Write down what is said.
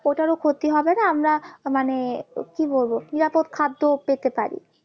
ওটারও ক্ষতি হবে না আমরা মানে কি বলবো নিরাপদ খাদ্য পেতে পারি